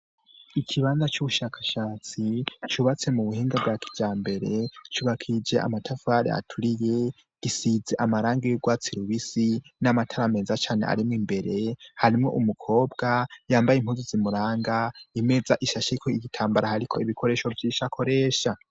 Ikibanza c'ubushakashatsi cubatse mu buhinga bwa kijambere cubakishije amatafari aturiye, gisize amarangi y'urwatsi rubisi n'amatara meza cane arimwo imbere, harimo umukobwa yambaye impuzu zimuranga imeza ishashiko igitambara hariko ibikoresho byishakoresha